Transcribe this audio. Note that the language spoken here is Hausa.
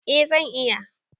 A zan iya